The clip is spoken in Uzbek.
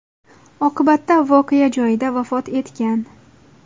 Oqibatda voqea joyida vafot etgan.